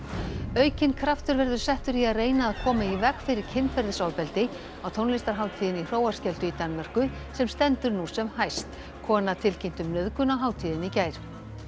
aukinn kraftur verður settur í að reyna að koma í veg fyrir kynferðisofbeldi á tónlistarhátíðinni í Hróarskeldu í Danmörku sem stendur nú sem hæst kona tilkynnti um nauðgun á hátíðinni í gær